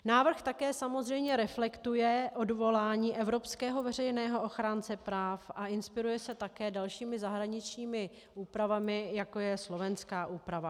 Návrh také samozřejmě reflektuje odvolání evropského veřejného ochránce práv a inspiruje se také dalšími zahraničními úpravami, jako je slovenská úprava.